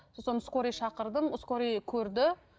сосын скорый шақырдым скорый көрді